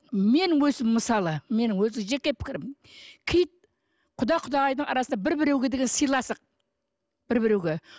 менің өзім мысалы менің өзі жеке пікірім киіт құда құдағайдың арасында бір біреуге деген сыйластық бір біреуге